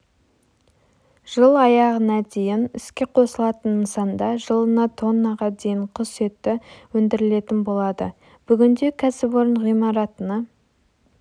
жыл аяғына дейін іске қосылатын нысанда жылына тоннаға дейін құс еті өндірілетін болады бүгінде кәсіпорын ғимаратына